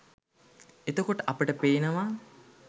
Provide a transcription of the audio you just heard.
එතකොට අපට පේනවා